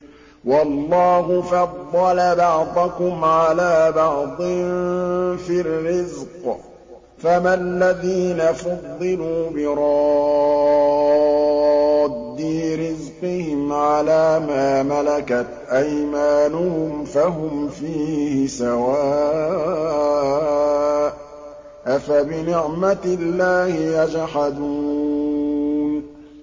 وَاللَّهُ فَضَّلَ بَعْضَكُمْ عَلَىٰ بَعْضٍ فِي الرِّزْقِ ۚ فَمَا الَّذِينَ فُضِّلُوا بِرَادِّي رِزْقِهِمْ عَلَىٰ مَا مَلَكَتْ أَيْمَانُهُمْ فَهُمْ فِيهِ سَوَاءٌ ۚ أَفَبِنِعْمَةِ اللَّهِ يَجْحَدُونَ